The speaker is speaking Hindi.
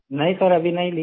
नहीं सर अभी नहीं लिए हैं